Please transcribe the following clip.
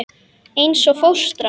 Eins og fóstra.